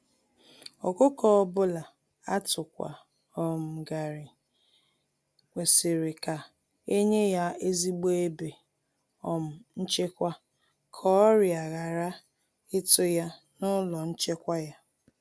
Ọkụkọ ọbula atukwa um ghari, kwesịrị ka enye ya ezigbo ebe um nchekwa ka ọrià ghara ịtụ ya n'ụlọ nchekwa ya.